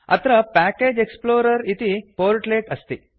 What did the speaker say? अत्र package explorer इति portlet अस्ति